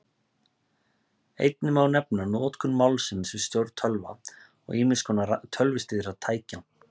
Einnig má nefna notkun málsins við stjórn tölva og ýmiss konar tölvustýrðra tækja.